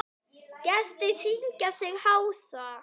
Gestir syngja sig hása.